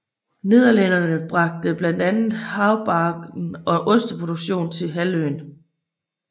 Nederlændere bragte blandt andet haubargen og osteproduktionen til halvøen